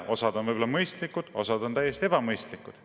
Osa on võib-olla mõistlikud, osa on täiesti ebamõistlikud.